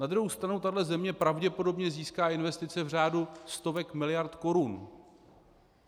Na druhou stranu tahle země pravděpodobně získá investice v řádu stovek miliard korun.